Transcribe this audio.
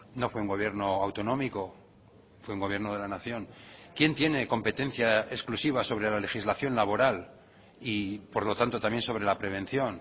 no fue un gobierno autonómico fue un gobierno de la nación quién tiene competencia exclusiva sobre la legislación laboral y por lo tanto también sobre la prevención